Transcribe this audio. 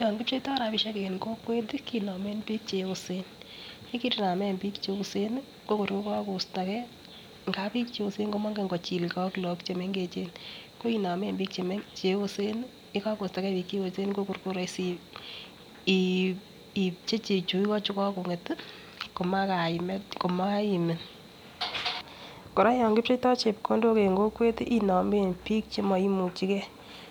Yon kipcheito rabishek en kokwet kinomen bik cheyosen yekerinamen bik cheyosen nii ko kor ko kokostogee ngap bik cheyosen komongen kichilgee ak lok chemengechen ko inomen bik cheyosen nii yekokostogee bik cheyosen ko kor ko roisi iipchechi chu igo chukokonget komakaimet komaimin. Koraa yon kipcheito chepkondok en kokwet inomen bik chemoimuchigee